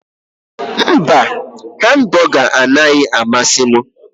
Mba hambụga anaghị amasị m.